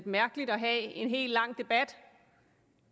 mærkeligt at have en hel lang debat